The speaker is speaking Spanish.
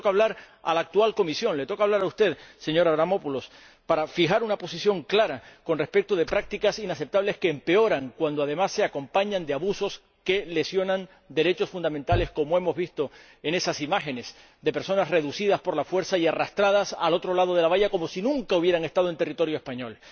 Ahora le toca hablar a la actual Comisión, le toca hablar a usted, señor Avramopoulos, para fijar una posición clara con respecto de prácticas inaceptables que empeoran cuando, además, vienen acompañadas de abusos que lesionan derechos fundamentales —como hemos visto en esas imágenes de personas reducidas por la fuerza y arrastradas al otro lado de la valla, como si nunca hubieran estado en territorio español—.